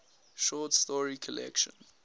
short story collection